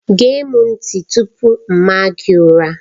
Gee m ntị tupu m maa gị ụra!